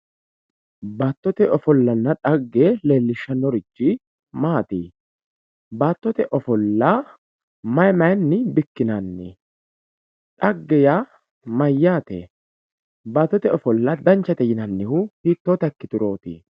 baattote ofollanna dhagge lellishshanorichi maati baattote ofolla mayii mayiini bikkinanni dhagge yaa mayaate baattote ofolla danchate yinannihu hittoota ikkiturooti